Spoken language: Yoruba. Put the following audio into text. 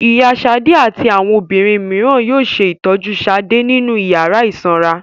Ìyá Ṣadé àti àwọn obìnrin mìíràn yóò ṣe ìtọ́jú Ṣadé nínú ìyàrá ìsanra.